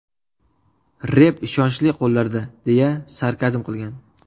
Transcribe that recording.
Rep ishonchli qo‘llarda”, deya sarkazm qilgan.